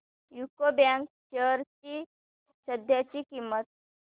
UCO bank shares ची सध्याची किंमत